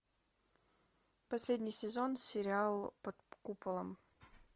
последний сезон сериал под куполом